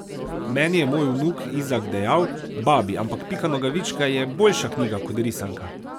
Meni je moj vnuk Izak dejal: 'Babi, ampak Pika Nogavička je boljša knjiga kot risanka'.